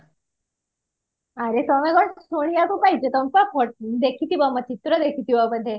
ଆରେ ତମେ କଣ ଶୁଣିବାକୁ ପାଇଛ ତମେ ପା ଦେଖିଥିବା ଚିତ୍ର ଦେଖିଥିବା ବୋଧେ